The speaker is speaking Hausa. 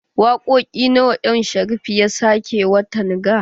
Wakoƙi nawa M Sharif ya sake watan ga?